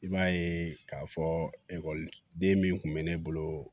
I b'a ye k'a fɔ ekɔliden min tun bɛ ne bolo